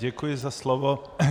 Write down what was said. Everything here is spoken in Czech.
Děkuji za slovo.